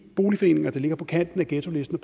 boligforeninger der ligger på kanten af ghettolisten